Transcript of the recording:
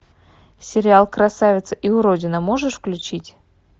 сериал красавица и уродина можешь включить